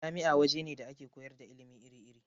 Jami'a waje ne da ake koyar da ilimi iri-iri.